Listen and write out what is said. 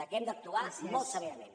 que hem d’actuar molt severament